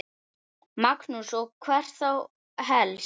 Magnús: Og hvert þá helst?